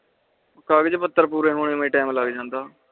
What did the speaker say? ਕਾਗੱਚ ਪੁੱਤਰ ਪੂਰੇ ਹੋਣੇ ਮੈਂ ਏ time ਲੱਗ ਜਾਂਦਾ